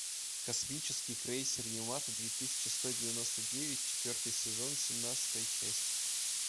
космический крейсер ямато две тысячи сто девяносто девять четвертый сезон семнадцатая часть